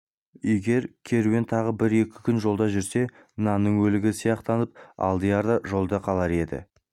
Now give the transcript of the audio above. егер керуен тағы бір-екі күн жолда жүрсе нанның өлігі сияқтанып алдияр да жолда қалар еді